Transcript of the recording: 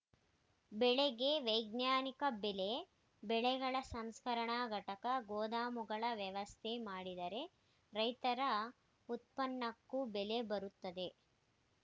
ಬೆಳೆಗೆ ವೈಜ್ಞಾನಿಕ ಬೆಲೆ ಬೆಳೆಗಳ ಸಂಸ್ಕರಣಾ ಘಟಕ ಗೋದಾಮುಗಳ ವ್ಯವಸ್ಥೆ ಮಾಡಿದರೆ ರೈತರ ಉತ್ಪನ್ನಕ್ಕೂ ಬೆಲೆ ಬರುತ್ತದೆ